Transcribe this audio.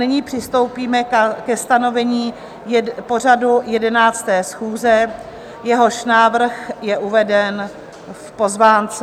Nyní přistoupíme ke stanovení pořadu 11. schůze, jehož návrh je uveden v pozvánce.